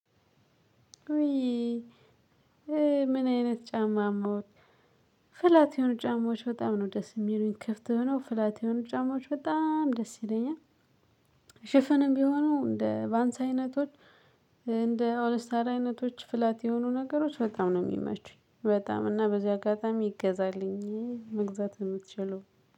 ዊ? ምን አይነት ጫማ ሞት ፍላት የሆኑ ጫማዎች በጣም ነው ደስ የሚሉኝ ክፍት ሆኖው ፍላት የሆኑ ጫማዎች በጣም ደስ ይለኛል። ሽፍንም ቢሆኑ እንደ ቫንስ አይነቶች እንደ ኦልስታር አይነቶች ፍላት የሆኑ ነገሮች በጣም ነው የሚመቹኝ በጣም እና በዚህ አጋጣሚ ይገዛልኝ መግዛት የምትችሉ።